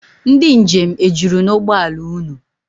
Ndị njem ejuru n'ụgbọla unu?